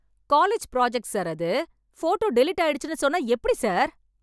College project sir அது. Photo delete ஆயிடுச்சின்னு சொன்னா எப்டி சார்?